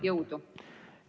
Jõudu!